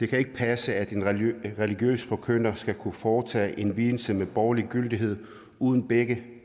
kan passe at en religiøs forkynder skal kunne foretage en vielse med borgerlig gyldighed uden begge